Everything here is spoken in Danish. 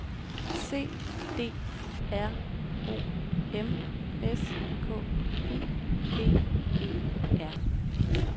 C D R O M S K I V E R